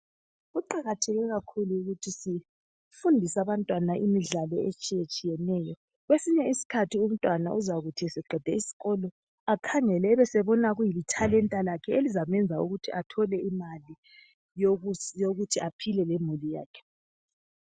kuqakatheke kakhulu ukuthi sifundise abantwana imidlalo etshiyetshiyeneyo kwesinye isikhathi umntwana uzakuthi esqede isikolo akahngele ebesebona kulithalenta lakhe elizamenza ukuthi ethole imali yokuthi aphile lemuli yakhe